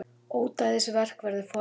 Ódæðisverk verði fordæmt